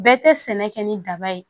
Bɛɛ tɛ sɛnɛ kɛ ni daba ye